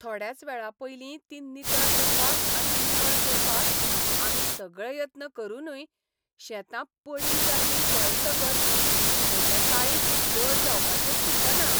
थोड्याच वेळापयलीं तीं नितळ करपाक आनी निवळ करपाक आमी सगळे यत्न करूनय शेतां पडींग जाल्लीं पळयतकच म्हजें काळीज जड जावपाचें चुकना.